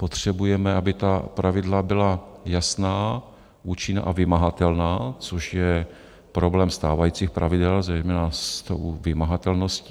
Potřebujeme, aby ta pravidla byla jasná, účinná a vymahatelná, což je problém stávajících pravidel, zejména s tou vymahatelností.